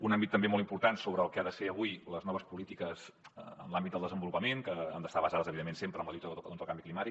un àmbit també molt important sobre el que han de ser avui les noves polítiques en l’àmbit del desenvolupament que han d’estar basades evidentment sempre en la lluita contra el canvi climàtic